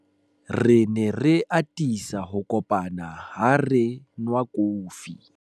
re ne re atisa ho kopana ha re nwa kofi